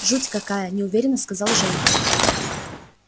жуть какая неуверенно сказал женька